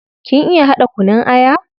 Kin iya hada kunun aya?